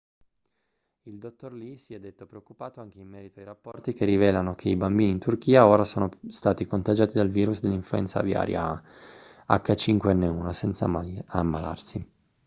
il dottor lee si è detto preoccupato anche in merito ai rapporti che rivelano che i bambini in turchia ora sono stati contagiati dal virus dell'influenza aviaria ah5n1 senza ammalarsi